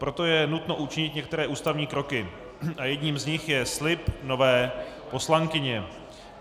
Proto je nutno učinit některé ústavní kroky a jedním z nich je slib nové poslankyně.